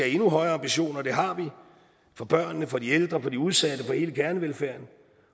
endnu højere ambitioner og det har vi for børnene for de ældre for de udsatte for hele kernevelfærden